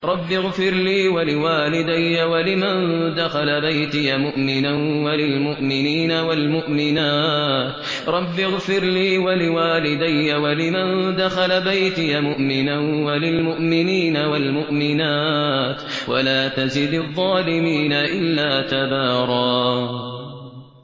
رَّبِّ اغْفِرْ لِي وَلِوَالِدَيَّ وَلِمَن دَخَلَ بَيْتِيَ مُؤْمِنًا وَلِلْمُؤْمِنِينَ وَالْمُؤْمِنَاتِ وَلَا تَزِدِ الظَّالِمِينَ إِلَّا تَبَارًا